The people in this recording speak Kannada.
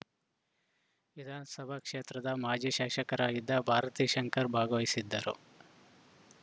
ವಿಧಾನಸಭಾ ಕ್ಷೇತ್ರದ ಮಾಜಿ ಶಾಸಕರಾಗಿದ್ದ ಭಾರತೀ ಶಂಕರ್‌ ಭಾಗವಹಿಸಿದ್ದರು